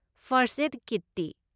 First aid ꯀꯤꯠꯇꯤ?